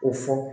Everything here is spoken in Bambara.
O fɔ